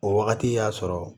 O wagati y'a sɔrɔ